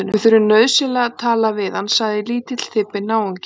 Við þurfum nauðsynlega að tala við hann sagði lítill, þybbinn náungi.